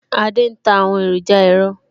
Adé ń ta àwọn èròjà ẹ̀rọ